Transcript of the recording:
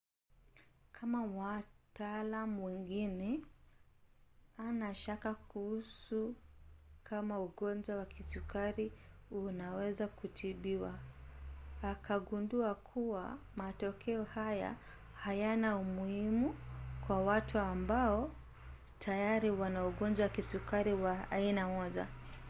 kama wataalam wengine ana shaka kuhusu kama ugonjwa wa kisukari unaweza kutibiwa akagundua kuwa matokeo haya hayana umuhimu kwa watu ambao tayari wana ugojwa wa kisukari wa aina 1